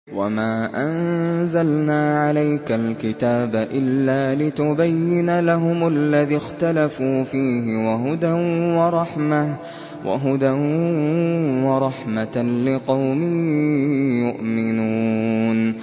وَمَا أَنزَلْنَا عَلَيْكَ الْكِتَابَ إِلَّا لِتُبَيِّنَ لَهُمُ الَّذِي اخْتَلَفُوا فِيهِ ۙ وَهُدًى وَرَحْمَةً لِّقَوْمٍ يُؤْمِنُونَ